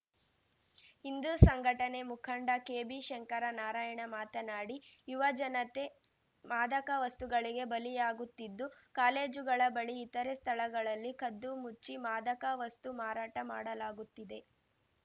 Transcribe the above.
ಹಿಂದು ಸಂಘಟನೆ ಮುಖಂಡ ಕೆಬಿಶಂಕರ ನಾರಾಯಣ ಮಾತನಾಡಿ ಯುವ ಜನತೆ ಮಾದಕ ವಸ್ತುಗಳಿಗೆ ಬಲಿಯಾಗುತ್ತಿದ್ದು ಕಾಲೇಜುಗಳ ಬಳಿ ಇತರೆ ಸ್ಥಳಗಳಲ್ಲಿ ಕದ್ದುಮುಚ್ಚಿ ಮಾದಕ ವಸ್ತು ಮಾರಾಟ ಮಾಡಲಾಗುತ್ತಿದೆ